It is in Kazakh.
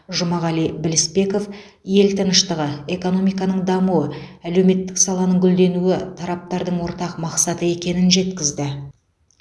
жұмағали білісбеков ел тыныштығы экономиканың дамуы әлеуметтік саланың гүлденуі тараптардың ортақ мақсаты екенін жеткізді